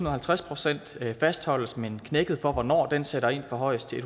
og halvtreds procent fastholdes men knækket for hvornår den sætter ind forhøjes til